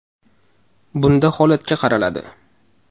Bunda holatga qaraladi.